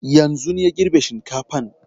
Yanzun ya girbe shinkafan